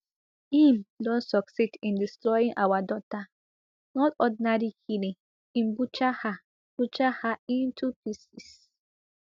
im don succeed in destroying our daughter not ordinary killing im butcher her butcher her into pieces